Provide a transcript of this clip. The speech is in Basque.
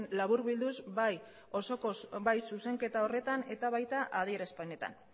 laburbilduz bai osoko bai zuzenketa horretan eta baita adierazpenetan